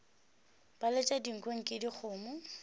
ba letša dinko eke dikgomo